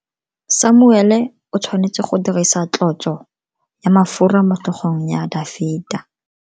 Samuele o tshwanetse go dirisa tlotso ya mafura motlhogong ya Dafita.